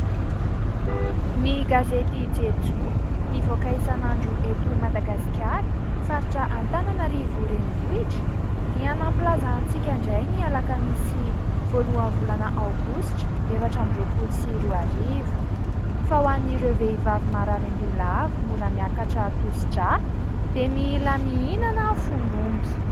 Ny gazety Jejoo mivoaka isan'andro eto Madagasikara, faritra Antananarivo renivohitra, dia nampilaza antsika indray ny alakamisy voalohan'ny volana aogositra efatra amby roapolo sy roa arivo, fa ho an'ireo vehivavy marary an-doha lava, mora miakatra tosi-drà, dia mila mihinana fon'omby.